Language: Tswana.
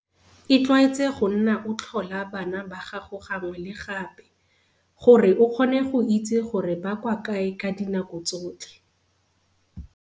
Itlwaetse go nna o tlhola bana ba gago gangwe le gape, gore o kgone go itse gore ba kwa kae ka dinako tsotlhe.